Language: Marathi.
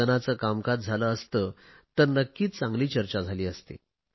सदनाचे कामकाज झाले असते तर नक्कीच चांगली चर्चा झाली असती